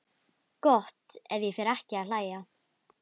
Gott ef ég fer ekki að hlæja.